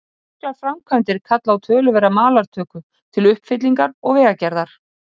Miklar framkvæmdir kalla á töluverða malartöku til uppfyllingar og vegagerðar.